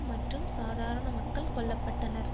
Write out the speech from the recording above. மற்றும் சாதாரண மக்கள் கொல்ல பட்டனர்